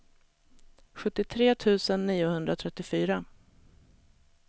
sjuttiotre tusen niohundratrettiofyra